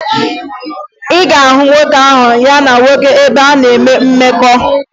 Ị ga-ahụ nwoke ahụ ya na-nwoke ibe ya na-enwe mmekọ